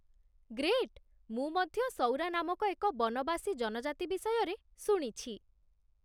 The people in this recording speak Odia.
ଗ୍ରେଟ୍! ମୁଁ ମଧ୍ୟ ସଉରା ନାମକ ଏକ ବନବାସୀ ଜନଜାତି ବିଷୟରେ ଶୁଣିଛି